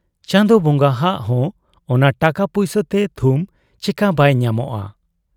ᱪᱟᱸᱫᱚ ᱵᱚᱸᱜᱟᱦᱟᱜ ᱦᱚᱸ ᱚᱱᱟ ᱴᱟᱠᱟ ᱯᱩᱭᱥᱟᱹᱛᱮ ᱛᱷᱩᱢ ᱪᱮᱠᱟ ᱵᱟᱭ ᱧᱟᱢᱚᱜ ᱟ ?